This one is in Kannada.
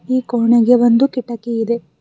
ಈ ಕೋಣೆಗೆ ಒಂದು ಕಿಟಕಿ ಇದೆ.